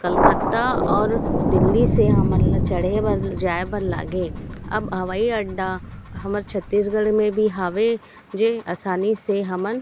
कलकत्ता ओर दिल्ली से हमन ला चड़े बर जाए बर लागे अब हवाई अड्डा हमर छत्तीसगढ़ मे भी हावे जे आसानी से हमन --